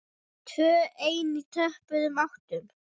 Tvö ein í töpuðum áttum.